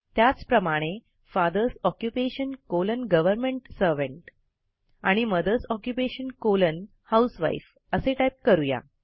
त्याचप्रमाणे father's occupation colon government servant आणि mother's occupation colon housewife असे टाईप करू या